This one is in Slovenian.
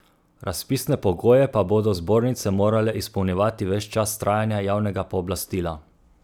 Razpisne pogoje pa bodo zbornice morale izpolnjevati ves čas trajanja javnega pooblastila.